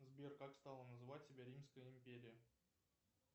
сбер как стала называть себя римская империя